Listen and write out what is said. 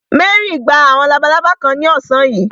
Mary gba àwọn labalábá kan ní ọ̀sán yìí.